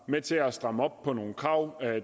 med til at stramme op på nogle krav